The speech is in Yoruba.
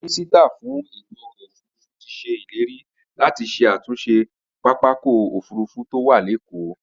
Mínísítà fún ètò ọkọ̀ òfurufú ti se ileri láti ṣe àtúnṣe pápákọ̀ òfurufú tó wà lékòó